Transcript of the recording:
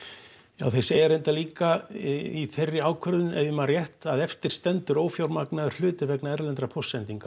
ja þeir segja reyndar líka í þeirri ákvörðun ef ég man rétt að eftir stendur ófjármagnaður hluti vegna erlendra póstsendinga